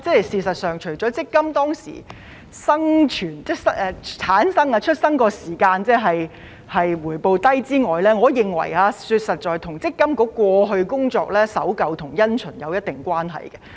事實上，除了因為強積金推出時的回報低之外，我認為實在與積金局過去的工作守舊因循有一定關係。